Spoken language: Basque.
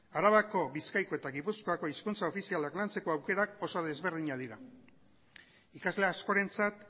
arabako bizkaiko eta gipuzkoako hizkuntza ofizialak lantzeko aukerak oso desberdinak dira ikasle askorentzat